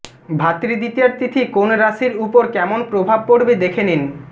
ভাতৃ দ্বিতীয়ার তিথি কোন রাশির উপর কেমন প্রভাব পড়বে দেখে নিন